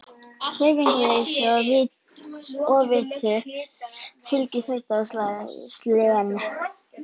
Hreyfingarleysi og offitu fylgir þreyta og slen.